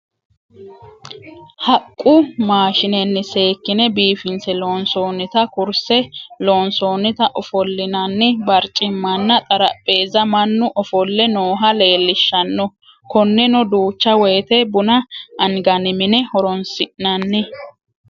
Haqu maashinenni seekkine biifinse loonsoonitta kurise lonsonitta ofolinanni bariccimanna xarapheezza manu offole nooha leellishanno , koneno duucha woyite buna anganni mine horonsinanni